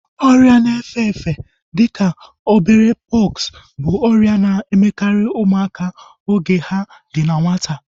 Ọrịa na efe-efe dịka obere pọksi bụ ọrịa na-emekarị ụmụaka oge ha dị na nwata